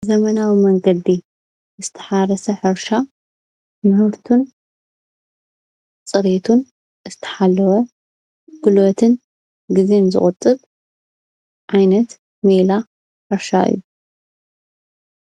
ብዘመናዊ መንገዲ ዝተሓረሰ ሕርሻ ምህርቱን ፅርየቱን ዝተሓለወ ጉልበትን ግዜ ንዝቑጥብ ዓይነት ሜላ ሕርሻ እዩ፡፡